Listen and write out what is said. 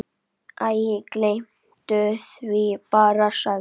Æ, gleymdu því bara- sagði